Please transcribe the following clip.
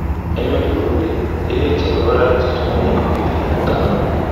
Emet Burundi, tienik chebo barak che kwonyik kotutigin amu tamaduni.